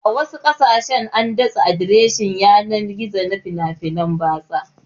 A wasu ƙasashen an datse adireshin yanar gizo na fina-finan batsa